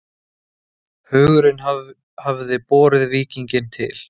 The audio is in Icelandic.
Hugurinn hafði borið víkinginn til